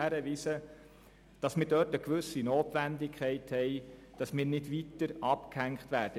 Aber hier besteht eine gewisse Notwendigkeit, damit wir nicht noch weiter abgehängt werden.